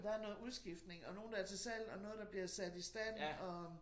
Der noget udskiftning og nogen der er til salg og noget der bliver sat i stand og